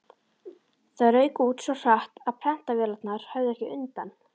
Það rauk út svo hratt, að prentvélarnar höfðu ekki undan.